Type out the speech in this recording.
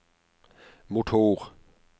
motor